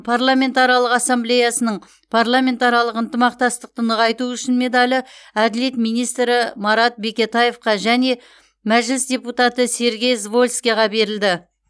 парламентаралық ассамблеясының парламентаралық ынтымақтастықты нығайту үшін медалі әділет министрі марат бекетаевқа және мәжіліс депутаты сергей звольскийге берілді